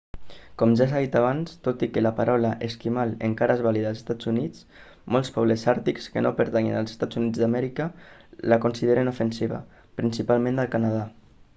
com ja s'ha dit abans tot i que la paraula esquimal encara és vàlida als estats units molts pobles àrtics que no pertanyen als eua la consideren ofensiva principalment al canadà